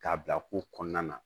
K'a bila ko kɔnɔna na